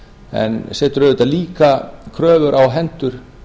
en setur auðvitað líka kröfur á hendur